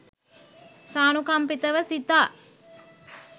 සානුකම්පිතව සිතා